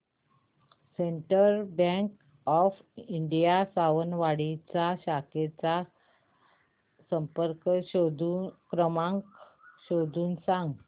central bank of India Sawantwadi च्या शाखेचा संपर्क क्रमांक शोधून सांग